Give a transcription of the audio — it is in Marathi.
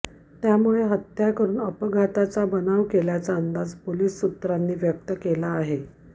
त्यामुळे हत्या करून अपघाताचा बनाव केल्याचा अंदाज पोलीस सूत्रांनी व्यक्त केला आहे